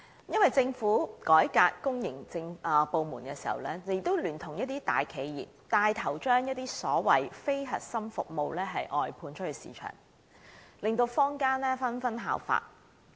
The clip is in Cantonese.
因為政府改革公營部門時，聯同一些大企業帶頭將所謂非核心服務外判出市場，令坊間紛紛效法。